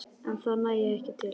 En það nægi ekki til.